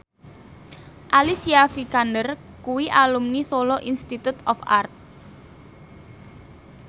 Alicia Vikander kuwi alumni Solo Institute of Art